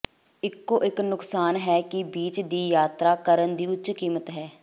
ਇਕੋ ਇਕ ਨੁਕਸਾਨ ਹੈ ਕਿ ਬੀਚ ਦੀ ਯਾਤਰਾ ਕਰਨ ਦੀ ਉੱਚ ਕੀਮਤ ਹੈ